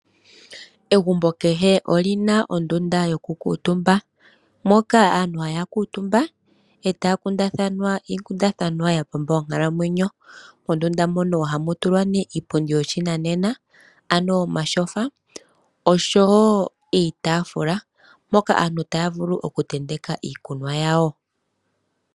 Egumbo kehe olina ondunda yoku kuutumba. Moka aantu haya kuutumba etaya kundathana iikundathanwa ya pamba onkalamwenyo. Mondunda mono ohamu tulwa nee iipundi yoshinanena, ano omatyofa, noshowo iitaafula mpoka aantu taya vulu oku tenteka iikunwa yawo